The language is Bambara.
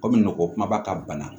Komi nɔgɔ kumaba ka bana